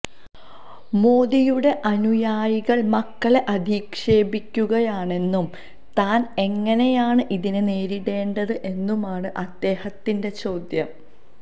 മോദിയുടെ അനുയായികള് മകളെ അധിക്ഷേപിക്കുകയാണെന്നും താന് എങ്ങനെയാണ് ഇതിനെ നേരിടേണ്ടത് എന്നുമാണ് അദ്ദേഹത്തിന്റെ ചോദ്യം